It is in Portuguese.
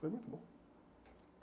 Foi muito bom.